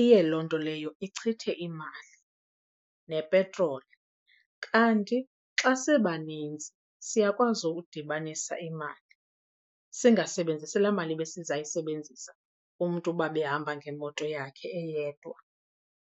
iye loo nto leyo ichithe imali nepetroli. Kanti xa sibanintsi siyakwazi ukudibanisa imali, singasebenzisi laa mali besizayisebenzisa umntu uba ebehamba ngemoto yakhe eyedwa.